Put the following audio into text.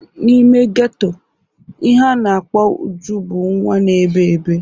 N'ime geto, ihe a na-akpọ Uju bụ nwa na-ebe ebe.